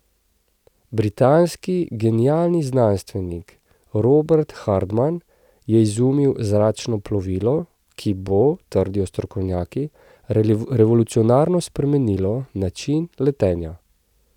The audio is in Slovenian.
Britanski genialni znanstvenik Robert Hardman je izumil zračno plovilo, ki bo, trdijo strokovnjaki, revolucionarno spremenilo načine letenja.